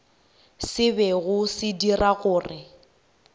se bego se dira gore